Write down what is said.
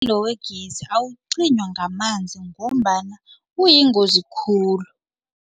Umlilo wegezi awuqinywa ngamanzi ngombana kuyingozi khulu.